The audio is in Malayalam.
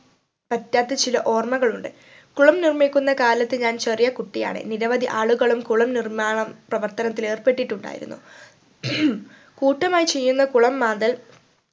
പറ്റാത്ത ചില ഓർമ്മകൾ ഉണ്ട് കുളം നിർമിക്കുന്ന കാലത്ത് ഞാൻ ചെറിയ കുട്ടിയാണ് നിരവധി ആളുകളും കുളം നിർമാണം പ്രവർത്തനത്തിൽ ഏർപ്പെട്ടിട്ടുണ്ടായിരുന്നു കൂട്ടമായി ചെയ്യുന്ന കുളം മാന്തൽ